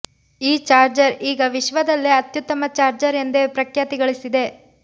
ಈ ಚಾರ್ಜರ್ ಈಗ ವಿಶ್ವದಲ್ಲೇ ಅತ್ಯುತ್ತಮ ಚಾರ್ಜರ್ ಎಂದೇ ಪ್ರಖ್ಯಾತಿ ಗಳಿಸಿದೆ